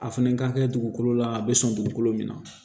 A fɛnɛ ka kɛ dugukolo la a be sɔn dugukolo min na